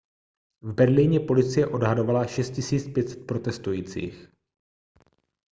v berlíně policie odhadovala 6 500 protestujících